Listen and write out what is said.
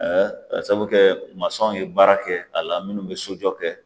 Aa k'a saabu kɛ masɔn ye baara kɛ a la minnu be sojɔ kɛ